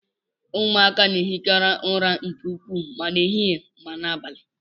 Ụmụaka na ehikarị ụra nke ukwuu ma ehihie ma n'abalị.